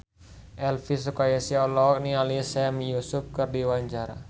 Elvy Sukaesih olohok ningali Sami Yusuf keur diwawancara